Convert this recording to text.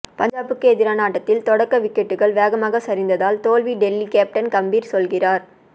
பஞ்சாப்புக்கு எதிரான ஆட்டத்தில் தொடக்க விக்கெட்டுகள் வேகமாக சரிந்ததால் தோல்வி டெல்லி கேப்டன் கம்பீர் சொல்கிறார்